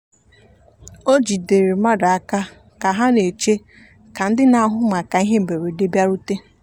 o jidere mmadụ aka ka ha na-eche ka ndị na-ahụ maka ihe mberede bịarute.